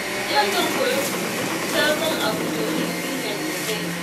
Yau zan fara koyon sabon abu domin na inganta kaina.